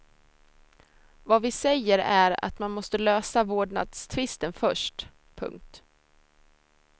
Vad vi säger är att man måste lösa vårdnadstvisten först. punkt